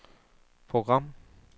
program